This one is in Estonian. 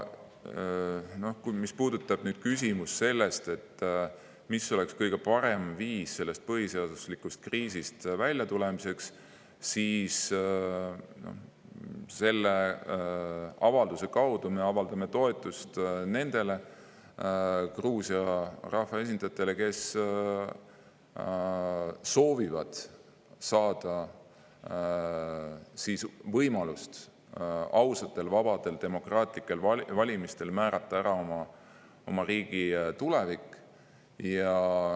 Mis puudutab küsimust, mis oleks kõige parem viis sellest põhiseaduslikkuse kriisist väljatulemiseks, siis selle avalduse kaudu me avaldame toetust nendele Gruusia rahvaesindajatele, kes soovivad saada võimalust määrata oma riigi tulevik ausatel, vabadel, demokraatlikel valimistel.